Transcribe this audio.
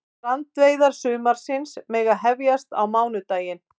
Strandveiðar sumarsins mega hefjast á mánudaginn